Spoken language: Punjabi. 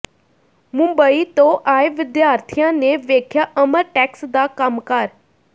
ਮੁੰਬਈ ਤੋਂ ਆਏ ਵਿਦਿਆਰਥੀਆਂ ਨੇ ਵੇਖਿਆ ਅਮਰਟੈਕਸ ਦਾ ਕੰਮਕਾਰ